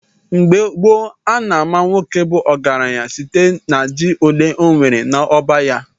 Mgbe gboo, a na-ama nwoke bu ọgaranya site na ji ole ọnwere n’ọba ya.